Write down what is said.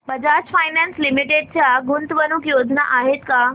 Bajaj finance limited च्या गुंतवणूक योजना आहेत का